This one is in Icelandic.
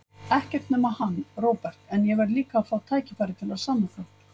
Ekkert nema hann, Róbert, en ég verð líka að fá tækifæri til að sanna það.